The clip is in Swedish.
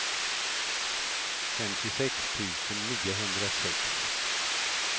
femtiosex tusen niohundrasex